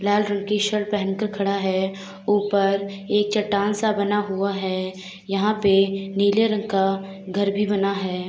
लाल रंग की शर्ट पहन के खड़ा है। ऊपर एक चट्टान सा बना हुआ है। यहाँ पे नीले रंग का घर भी बना है।